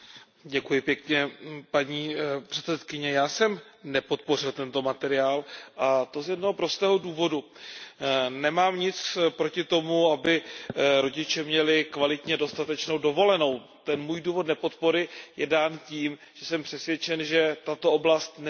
Paní předsedající, já jsem nepodpořil tento materiál, a to z jednoho prostého důvodu. Nemám nic proti tomu, aby rodiče měli kvalitně dostatečnou dovolenou, ten můj důvod nepodpory je dán tím, že jsem přesvědčen, že tato oblast nespadá do působnosti